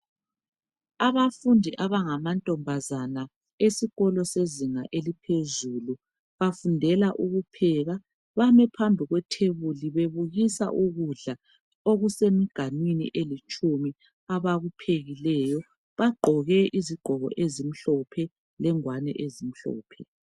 Abafundi abangamankazana esikolo sezinga eliphezulu bafundela ukupheka bame phambi kwetafula bebukisa ukudla okusemganwini elitshumi abakuphekileyo bagqoke izigqoko ezimhlophe lengwane ezimhlophe.